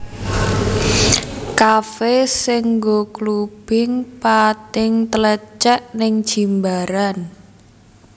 Kafe sing nggo clubbing pating tlecek ning Jimbaran